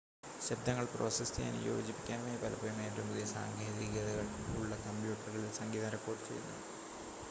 ശബ്ദങ്ങൾ പ്രോസസ്സ് ചെയ്യാനും യോജിപ്പിക്കാനുമായി പലപ്പോഴും ഏറ്റവും പുതിയ സാങ്കേതികതകൾ ഉള്ള കമ്പ്യൂട്ടറുകളിൽ സംഗീതം റെക്കോഡ് ചെയ്യുന്നു